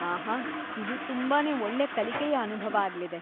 ಆಹಾ! ಇದು ತುಂಬಾನೇ ಒಳ್ಳೆ ಕಲಿಕೆಯ ಅನುಭವ ಆಗ್ಲಿದೆ.